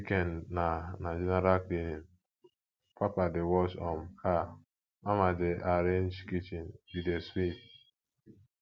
weekend na na general cleaning papa dey wash um car mama dey arrange kitchen we dey sweep